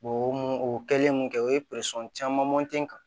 O mun o kɛlen mun kɛ o ye caman kan